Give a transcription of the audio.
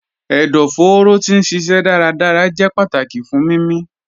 Ẹdọfóró ti n ṣiṣẹ dárádárá jẹ̀ pátákì fún mímí.